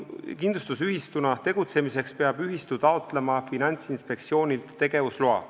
Kindlustusühistuna tegutsemiseks peab ühistu taotlema Finantsinspektsioonilt tegevusloa.